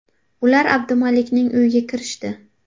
Ular Abdumalikning uyiga kirishdi.